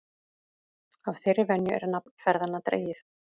Af þeirri venju er nafn ferðanna dregið.